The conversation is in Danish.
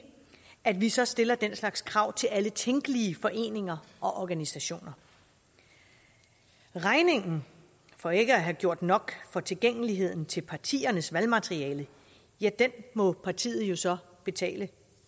at vi så stiller den slags krav til alle tænkelige foreninger og organisationer regningen for ikke at have gjort nok for tilgængeligheden til partiernes valgmateriale ja den må partiet jo så betale